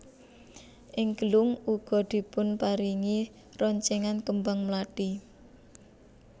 Ing gelung uga dipunparingi roncenan kembang mlathi